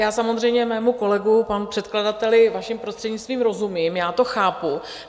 Já samozřejmě mému kolegovi, panu předkladateli, vaším prostřednictvím, rozumím, já to chápu.